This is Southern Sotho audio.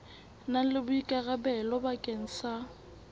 na le boikarabelo bakeng sa